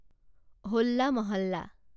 হোল্লা মহাল্লা